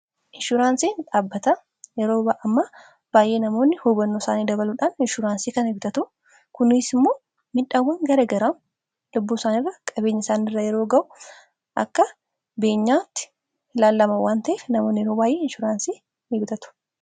inshuuraansii dhaabbata yeroo baayee namoonni hubanno isaanii dabaluudhaan inshuuraansii kana ni gutatu kuniis immoo midhaawwan garagaraa lubbuu isaanirra qabeenye isaanirra yeroo ga'u akka beenyaatti hilaallamawwan ta'e namoon yeroo baa'ee inshuuraansii ni butatu